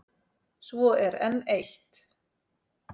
Svo er enn eitt.